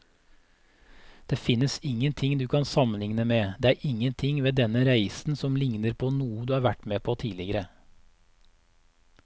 Det finnes ingenting du kan sammenligne med, det er ingenting ved denne reisen som ligner på noe du har vært med på tidligere.